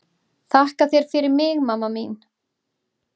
Þakka þér fyrir mig mamma mín.